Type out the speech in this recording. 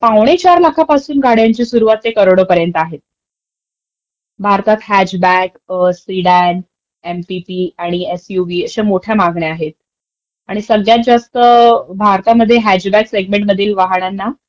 पावणे चार लाखांपासून गाड्यांची सुरवात ते अगदी करोडोपर्यंत आहे. भारतात हॅचबॅक, स्पीडॅक not clear एमपीटी आणि एसयूव्ही अश्या मोठ्या मागण्या आहेत. आणि सगळ्यात जास्त भारतामध्ये हॅचबॅक सेग्मेंटमधील वाहणांना